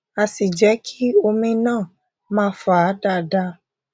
á sì jé kí omi náà máa fà dáadáa